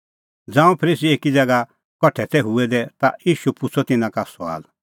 ज़ांऊं फरीसी एकी ज़ैगा कठा तै हूऐ दै ता ईशू पुछ़अ तिन्नां का सुआल